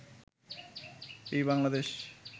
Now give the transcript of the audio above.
এই বাংলাদেশ